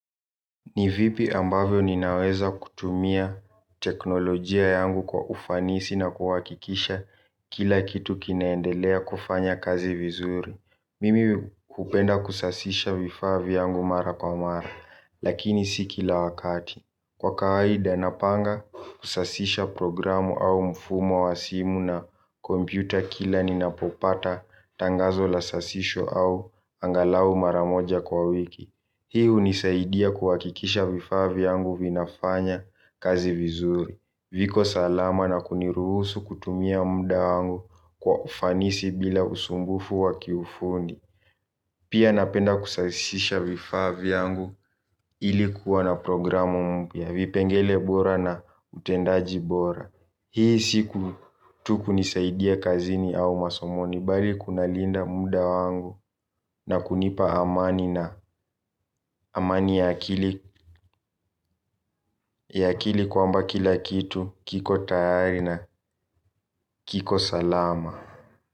Ni vipi ambavyo ninaweza kutumia teknolojia yangu kwa ufanisi na kuhakikisha kila kitu kinaendelea kufanya kazi vizuri. Mimi kupenda kusasisha vifa vyangu mara kwa mara, lakini si kila wakati. Kwa kawaida napanga kusasisha programu au mfumo wa simu na kompyuta kila ninapopata tangazo la sasisho au angalau maramoja kwa wiki. Hii hunisaidia kuhakikisha vifaa vyangu vinafanya kazi vizuri. Viko salama na kuniruhusu kutumia muda wangu kwa ufanisi bila usumbufu wa kiufundi. Pia napenda kusasisha vifaa vyangu ilikuwa na programu mpya vipengele bora na utendaji bora. Hii siku tu kunisaidia kazini au masomoni bali kuna linda muda wangu na kunipa amani na amani ya akili. Ya akili kwamba kila kitu kiko tayari na kiko salama.